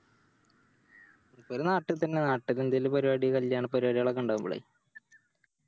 ഇപ്പിവിടെ നാട്ടിത്തന്നെ നാട്ടിത്തെ എന്തേലും പരിപാടി കല്യാണ പരിപാടികളൊക്കെ ഇണ്ടാവുംബളെ